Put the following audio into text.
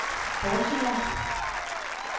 Baltimore